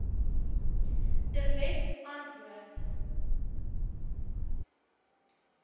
de wet antwoord